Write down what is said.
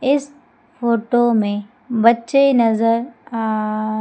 इस फोटो में बच्चे नजर आ--